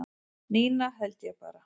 Nína held ég bara